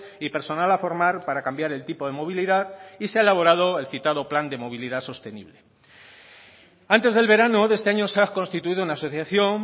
y personal a formar para cambiar el tipo de movilidad y se ha elaborado el citado plan de movilidad sostenible antes del verano de este año se ha constituido una asociación